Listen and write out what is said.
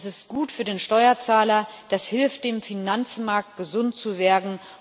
Das ist gut für den Steuerzahler, und das hilft dem Finanzmarkt, gesund zu werden.